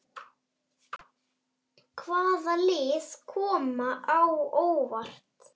Hvaða lið koma á óvart?